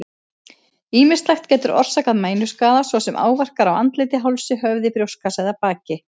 Ýmislegt getur orsakað mænuskaða, svo sem áverkar á andliti, hálsi, höfði, brjóstkassa eða baki.